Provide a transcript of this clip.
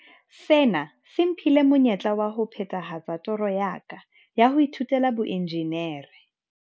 "Sena se mphile monyetla wa ho phethahatsa toro ya ka ya ho ithutela boenjinere."